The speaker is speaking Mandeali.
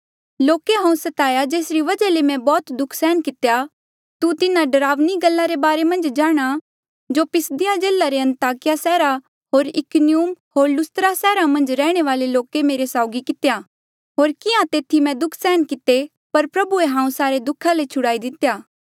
लोके हांऊँ सताया जेसरी वजहा ले मैं बौह्त दुःख सहन कितेया तू तिन्हा डरावणी गल्ला रे बारे जाणहां जो पिसिदिया जिल्ले रे अन्ताकिया होर इकुनियुम होर लुस्त्रा सैहरा मन्झ रैहणे वाले लोके मेरे साउगी कितेया होर किहां तेथी मैं दुःख सहन किते पर प्रभुए हांऊँ सारे दुखा ले छुड़ाई लितेया